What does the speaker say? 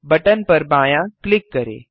button पर बायाँ click करें